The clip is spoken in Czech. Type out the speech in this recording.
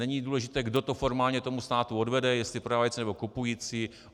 Není důležité, kdo to formálně tomu státu odvede, jestli prodávající, nebo kupující.